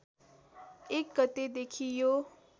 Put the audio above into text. १ गतेदेखि यो